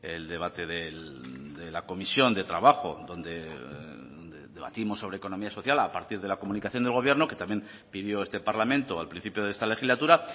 el debate de la comisión de trabajo donde debatimos sobre economía social a partir de la comunicación del gobierno que también pidió este parlamento al principio de esta legislatura